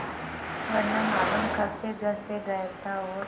वह न मालूम कब से घर से गायब था और